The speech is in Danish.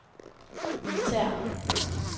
militære